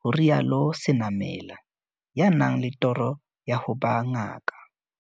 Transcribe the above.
ho rialo Senamela, ya nang le toro ya ho ba ngaka.